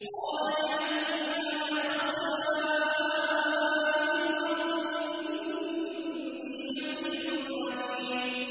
قَالَ اجْعَلْنِي عَلَىٰ خَزَائِنِ الْأَرْضِ ۖ إِنِّي حَفِيظٌ عَلِيمٌ